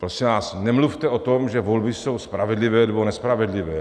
Prosím vás, nemluvte o tom, že volby jsou spravedlivé nebo nespravedlivé.